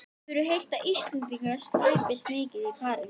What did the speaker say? Hefur heyrt að Íslendingar slæpist mikið í París.